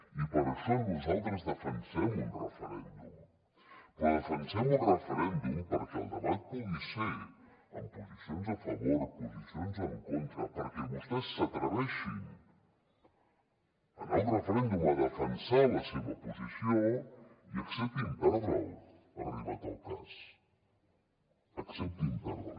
i per això nosaltres defensem un referèndum però defensem un referèndum perquè el debat pugui ser amb posicions a favor posicions en contra perquè vostès s’atreveixin a anar a un referèndum a defensar la seva posició i acceptin perdre’l arribat el cas acceptin perdre’l